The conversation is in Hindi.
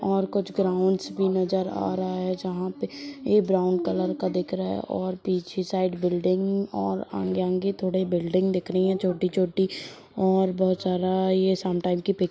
और कुछ ग्राउंड्स भी नज़र आ रहा है जहा पे ये ब्राउन कलर का दिख रहा हैंऔर पीछे साइड बिल्डिंग और आंगे -आंगे थोड़े बिल्डिंग दिख रही है छोटी-छोटी और बहुत सारा ये शाम टाइम के पीक --